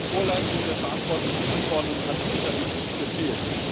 An der Vorleistung der verantwortlichen Abgeordneten hat es sicherlich nicht gefehlt.